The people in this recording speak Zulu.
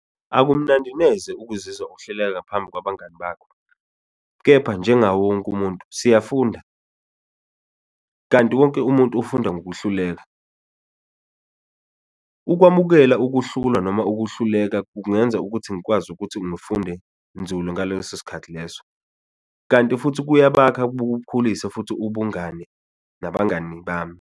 Akumnandi neze ukuzizwa uhleleka ngaphambi kwabangani bakho kepha njengawo wonke umuntu siyafunda, kanti wonke umuntu ufunda ngokuhluleka, ukwamukela ukuhlulwa noma ukuhluleka kungenza ukuthi ngikwazi ukuthi ngifunde nzulu ngaleso sikhathi leso, kanti futhi kuyabakha bukukhulise futhi ubungani nabangani bami.